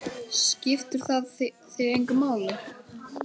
Skiptir það þig engu máli?